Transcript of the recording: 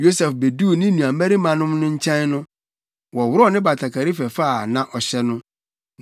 Yosef beduu ne nuabarimanom no nkyɛn no, wɔworɔw ne batakari fɛfɛ a na ɔhyɛ no,